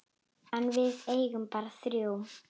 En við eigum bara þrjú.